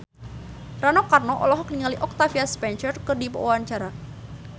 Rano Karno olohok ningali Octavia Spencer keur diwawancara